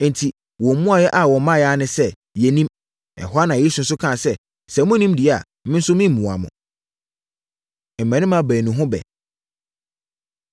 Enti, wɔn mmuaeɛ a wɔmaeɛ ara ne sɛ, “Yɛnnim!” Ɛhɔ ara na Yesu nso kaa sɛ, “Sɛ monnim deɛ a, me nso meremmua mo.” Mmammarima Baanu Ho Ɛbɛ